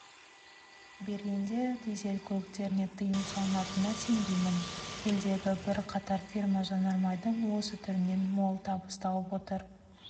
берлинде дизель көліктеріне тыйым салынатынына сенбеймін елдегі бірқатар фирма жанармайдың осы түрінен мол табыс тауып отыр